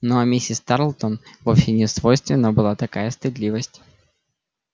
ну а миссис тарлтон вовсе не свойственна была такая стыдливость